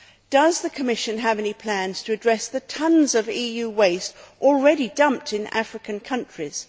Does the Commission have any plans to address the tonnes of EU waste already dumped in African countries?